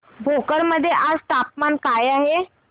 भोकर मध्ये आज तापमान काय आहे